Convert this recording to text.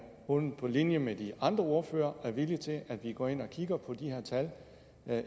hun på linje med de andre ordførere er villig til at gå ind at kigge på de her tal